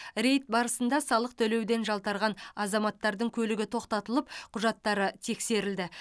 рейд барысында салық төлеуден жалтарған азаматтардың көлігі тоқтатылып құжаттары тексерілді